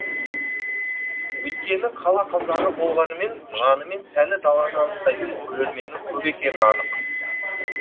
өйткені қала қазағы болғанымен жаны мен тәні даланы аңсайтын көрерменнің көп екені анық